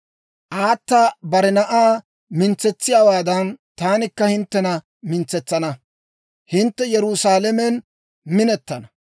Aata bare na'aa mintsetsiyaawaadan, taanikka hinttena mintsetsana; hintte Yerusaalamen minettana.